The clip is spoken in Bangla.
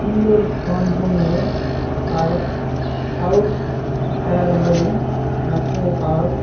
সুন্দর বন জঙ্গলে পার্ক সাউথ খাইরবাড়ি নাটোরে পার্ক ।